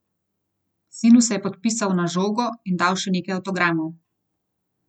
Sinu se je podpisal na žogo in dal še nekaj avtogramov.